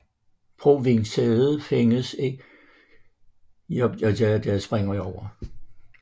Provinssædet findes i Jincheng i Kinmen